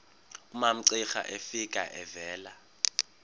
umamcira efika evela